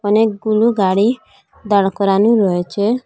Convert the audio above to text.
অনেকগুলো গাড়ি দাঁড় করানো রয়েচে।